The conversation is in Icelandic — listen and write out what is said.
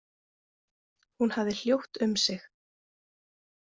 Hún hafði hljótt um sig.